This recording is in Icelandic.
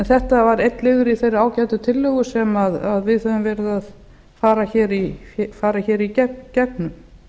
þetta var einn liður í þeirri ágætu tillögu sem við höfum verið að fara í gegnum